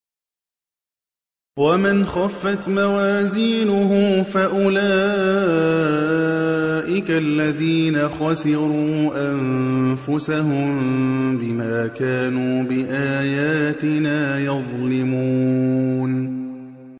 وَمَنْ خَفَّتْ مَوَازِينُهُ فَأُولَٰئِكَ الَّذِينَ خَسِرُوا أَنفُسَهُم بِمَا كَانُوا بِآيَاتِنَا يَظْلِمُونَ